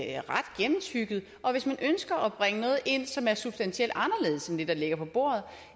er ret gennemtygget hvis man ønsker at bringe noget ind som er substantielt anderledes end det der ligger på bordet